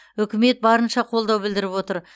үкімет барынша қолдау білдіріп отыр